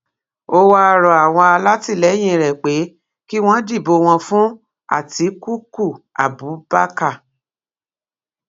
ó wáá rọ àwọn alátìlẹyìn rẹ pé kí wọn dìbò wọn fún àtikukú abubakar